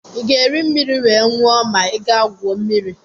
ị ga-eri mmiri wee nwụọ ma ị gaa gwuo mmiri